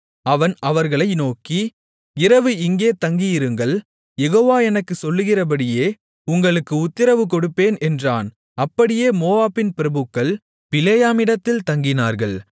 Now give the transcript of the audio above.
அவன் அவர்களை நோக்கி இரவு இங்கே தங்கியிருங்கள் யெகோவா எனக்குச் சொல்லுகிறபடியே உங்களுக்கு உத்திரவு கொடுப்பேன் என்றான் அப்படியே மோவாபின் பிரபுக்கள் பிலேயாமிடத்தில் தங்கினார்கள்